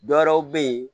Dɔwɛrɛw bɛ ye